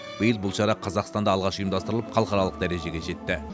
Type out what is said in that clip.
биыл бұл шара қазақстанда алғаш ұйымдастырылып халықаралық дәрежеге жетті